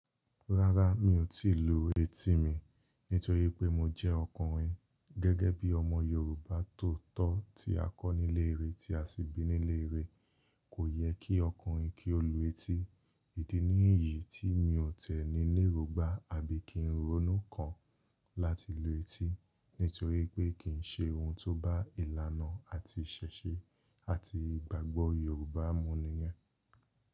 Rárá mi ò tíì lu etí mi nítorí pé mo jẹ́ ọkùnrin. Gẹ́gẹ́ bí ọmọ Yorùbá tóotọ́ tí a kọ́ nílé ìre, tí a sì bí nílé ìre, kò yẹ kí ọkùnrin kí ó lu etí. Idi ní iyì tí mi ò tẹ̀ ní erongbà àbí kí ń ronú kan láti lu etí nítorí pé kì í ṣe ohun tó bá ìlànà àti ìṣẹ̀ṣẹ̀ àti ìgbàgbọ́ Yorùbá mu nìyẹn.